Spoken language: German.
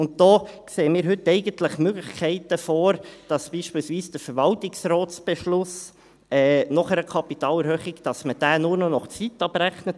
Und da sehen wir heute eigentlich Möglichkeiten vor, beispielsweise den Verwaltungsratsbeschluss nach einer Kapitalerhöhung nur noch nach Zeit abzurechnen;